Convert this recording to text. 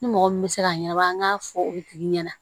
Ni mɔgɔ min bɛ se k'a ɲɛnabɔ an k'a fɔ o tigi ɲɛna